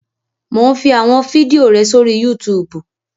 Mò ún fi àwọn fídíò rẹ sórí Yútùùbù